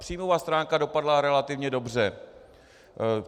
Příjmová stránka dopadla relativně dobře.